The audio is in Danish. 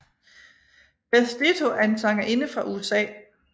Beth Ditto er en sangerinde fra USA